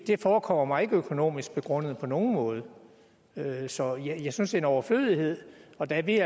det forekommer mig ikke økonomisk begrundet på nogen måde så jeg synes en overflødighed og da vi